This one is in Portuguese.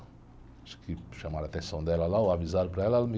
Acho que chamaram a atenção dela lá, ou avisaram para ela, ela me...